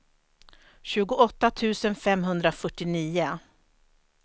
tjugoåtta tusen femhundrafyrtionio